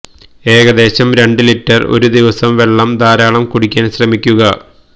ഏകദേശം രണ്ടു ലിറ്റർ ഒരു ദിവസം വെള്ളം ധാരാളം കുടിക്കാൻ ശ്രമിക്കുക